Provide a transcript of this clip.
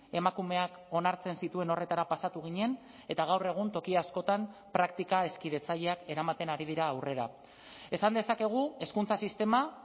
emakumeak onartzen zituen horretara pasatu ginen eta gaur egun toki askotan praktika hezkidetzaileak eramaten ari dira aurrera esan dezakegu hezkuntza sistema